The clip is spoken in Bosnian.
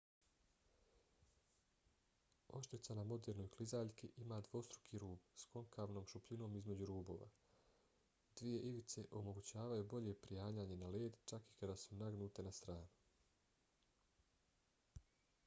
oštrica na modernoj klizaljki ima dvostruki rub s konkavnom šupljinom između rubova. dvije ivice omogućavaju bolje prijanjanje na led čak i kada su nagnute na stranu